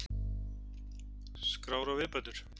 Skrár og viðbætur.